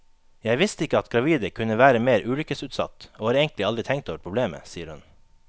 Jeg visste ikke at gravide kunne være mer ulykkesutsatt, og har egentlig aldri tenkt over problemet, sier hun.